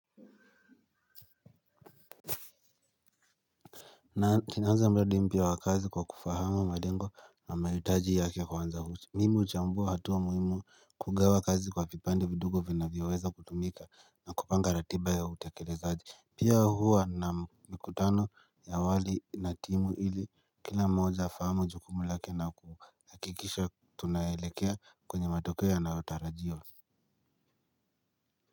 Na tinaanza mbadi mpia wa kazi kwa kufahama madengo na mayutaji yake kwa wanza huchi Mimu uchambua hatuwa muhimu kugawa kazi kwa pipande vidugo vina vyaweza kutumika na kupanga ratiba ya utakelezaji. Pia huwa na mikutano ya awali na timu ili kila mmoja afahamu jukumu lake na ku hakikisha tunaelekea kwenye matokeo yanayo tarajiwa.